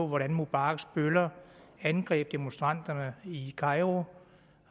hvordan mubaraks bøller har angrebet demonstranterne i kairo